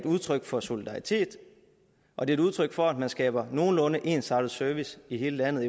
udtryk for solidaritet og det er udtryk for at man skaber en nogenlunde ensartet service i hele landet